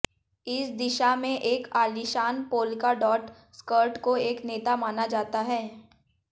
इस दिशा में एक आलीशान पोल्का डॉट स्कर्ट को एक नेता माना जाता है